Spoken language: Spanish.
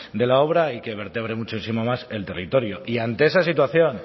de la obra y que vertebre muchísimo más el territorio y ante esa situación